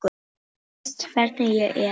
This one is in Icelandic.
Þú veist hvernig ég er.